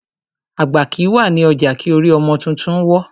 Àgbà kìí wà ní ọjà kí orí ọmọ tuntun wọ́.